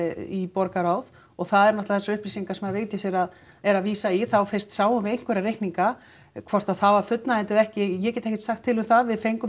í borgarráð og það eru náttúrulega upplýsingar sem Vigdís er að er að vísa í þá fyrst sáum við einhverja reikninga hvort að það var fullnægjandi eða ekki ég get ekkert sagt til um það við fengum